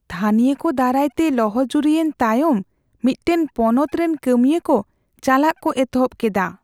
ᱛᱷᱟᱹᱱᱤᱭᱚ ᱠᱚ ᱫᱟᱨᱟᱭᱛᱮ ᱞᱚᱦᱚᱡᱩᱨᱤᱭᱮᱱ ᱛᱟᱭᱚᱢ ᱢᱤᱫᱴᱟᱝ ᱯᱚᱱᱚᱛ ᱨᱮᱱ ᱠᱟᱹᱢᱤᱭᱟᱹ ᱠᱚ ᱪᱟᱞᱟᱜ ᱠᱚ ᱮᱛᱚᱦᱚᱵ ᱠᱮᱫᱟ ᱾